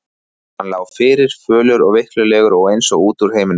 Hann lá fyrir, fölur og veiklulegur og eins og út úr heiminum.